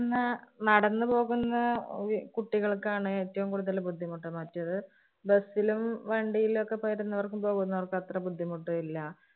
ഇന്ന് നടന്നുപോകുന്ന ഒരു കുട്ടികള്‍ക്കാണ് ഏറ്റവും കൂടുതല് ബുദ്ധിമുട്ട്. മറ്റത് Bus ലും, വണ്ടിയിലൊക്കെ വരുന്നവർക്കും പോകുന്നവര്‍ക്ക് അത്ര ബുദ്ധിമുട്ട് ഇല്ല.